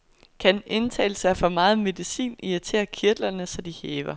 Kan indtagelse af for meget medicin irritere kirtlerne, så de hæver?